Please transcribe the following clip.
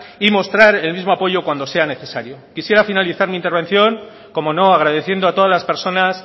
y mostrar el mismo apoyo cuando sea necesario quisiera finalizar mi intervención cómo no agradeciendo a todas las personas